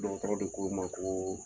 Dɔgɔtɔrɔ de ko n ma ko